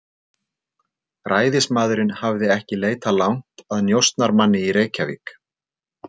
Ræðismaðurinn hafði ekki leitað langt að njósnarmanni í Reykjavík.